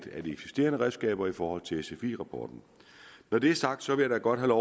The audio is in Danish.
eksisterende redskaber i forhold til sfi rapporten når det er sagt vil jeg da godt have